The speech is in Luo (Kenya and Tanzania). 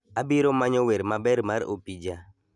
Abiro manyo wer maber mar opija